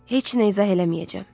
Heç nə izah eləməyəcəm.